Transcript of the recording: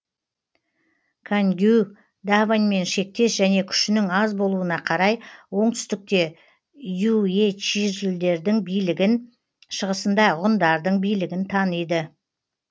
кангюй даваньмен шектес және күшінің аз болуына қарай оңтүстікте юечжилердің билігін шығысында ғұндардың билігін таниды